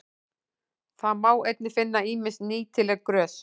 Þá má einnig finna ýmis nýtileg grös.